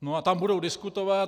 No a tam budou diskutovat.